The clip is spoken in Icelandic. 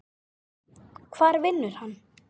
Hvar vinnur hann?